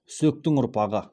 үсектің ұрпағы